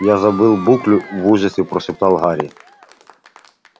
я забыл буклю в ужасе прошептал гарри